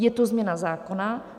Je to změna zákona.